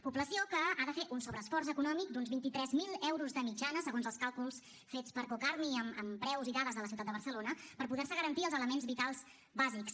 població que ha de fer un sobreesforç econòmic d’uns vint tres mil euros de mitjana segons els càlculs fets per cocarmi amb preus i dades de la ciutat de barcelona per poder se garantir els elements vitals bàsics